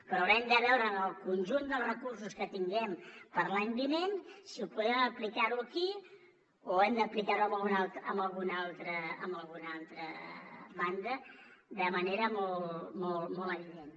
però haurem de veure en el conjunt dels recursos que tinguem per a l’any vinent si ho podem aplicar aquí o ho hem d’aplicar a alguna altra banda de manera molt evident